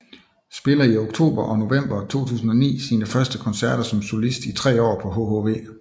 Spiller i oktober og november 2009 sine første koncerter som solist i tre år på hhv